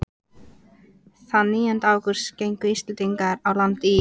Þann nítjánda ágúst gengu Íslendingarnir á land í